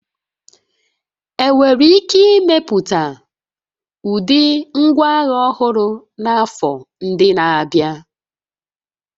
Enwere ike imepụta ụdị ngwaagha ọhụrụ n'afọ ndị na-abịa